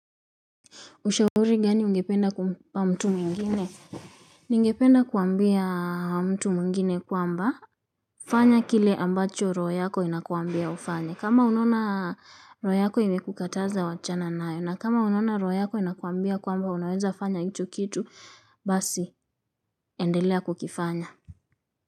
Ushauri gani ungependa kumpa mtu mwingine? Ningependa kuambia mtu mwingine kwamba fanya kile ambacho roho yako inakuambia ufanye. Kama unaona roho yako imekukataza wachana nayo. Na kama unona roho yako inakuambia kwamba unaweza fanya hicho kitu. Basi, endelea kukifanya.